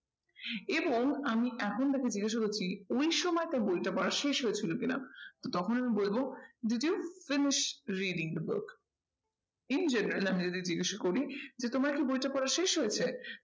এবং আমি এখন তাকে জিজ্ঞাসা করছি ওই সময় তার বইটা পড়া শেষ হয়েছিল কি না? তো তখন আমি বলবো did you finish reading the book? in general আমি যদি জিজ্ঞাসা করি যে তোমার কি বইটা পড়া শেষ হয়েছে?